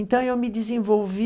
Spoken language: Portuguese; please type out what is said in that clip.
Então, eu me desenvolvi